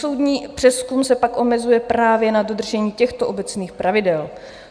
Soudní přezkum se pak omezuje právě na dodržení těchto obecných pravidel.